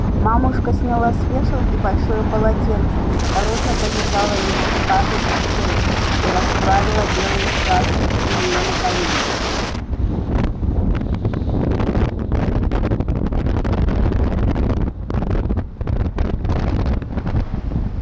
мамушка сняла с вешалки большое полотенце осторожно повязала его скарлетт на шею и расправила белые складки у нее на коленях